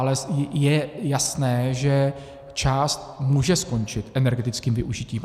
Ale je jasné, že část může skončit energetickým využitím.